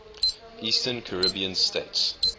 eastern caribbean states